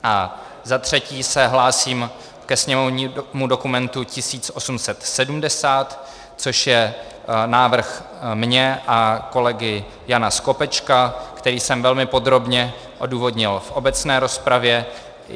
A za třetí se hlásím ke sněmovnímu dokumentu 1870, což je návrh můj a kolegy Jana Skopečka, který jsem velmi podrobně odůvodnil v obecné rozpravě.